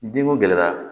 Denko gɛlɛyara